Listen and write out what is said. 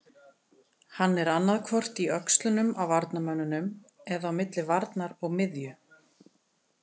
Hann er annaðhvort í öxlunum á varnarmönnunum eða á milli varnar og miðju.